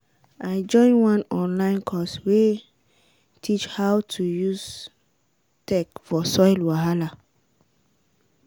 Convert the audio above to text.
i join one online course wey teach how to use tech for soil wahala.